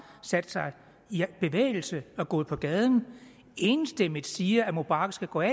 sat sig i bevægelse og er gået på gaden og enstemmigt siger at mubarak skal gå af